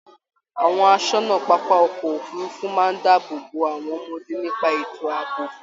Àwọn àsọ́nà pápá ọkọ òfurùnfu máa n dáàbò bò àwọn ọmọdé nípa ètò àbò.